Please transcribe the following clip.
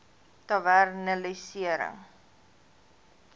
tavernelisensier